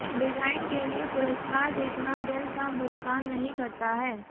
design के लिए पुरस्कार जीतना बिल का भुगतान नहीं करता है